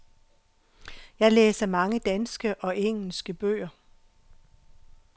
Jeg læser mange danske og engelske bøger.